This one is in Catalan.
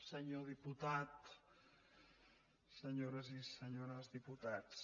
senyor diputat senyores i senyors diputats